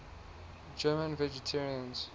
german vegetarians